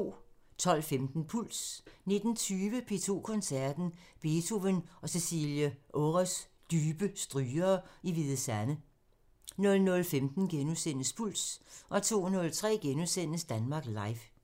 12:15: Puls 19:20: P2 Koncerten – Beethoven og Cecilie Ores dybe strygere i Hvide Sande 00:15: Puls * 02:03: Danmark Live *